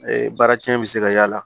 Ee baara cɛnni bi se ka y'a la